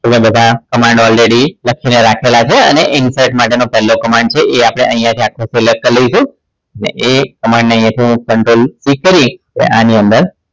તમને બધા command already લખીને રાખેલા છે અને insert માટેનો પહેલો command છે એ આપણે અહીંયા થી select કરી નાખીશું અને એ command ને હું અહીંયા થી CTRLC કરી આની અંદર